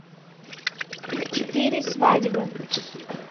четыре свадьбы